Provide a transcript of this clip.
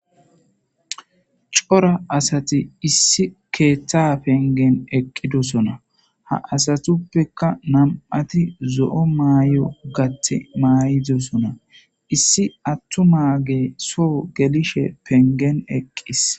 cora asati issi keeththa pengen eqqidosona ha asatuppekka nam7ati zo7o maay7o gati maay7idosona issi attu maage soo gelishe pengen eqqis